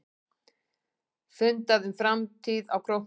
Fundað um framtíð á Króknum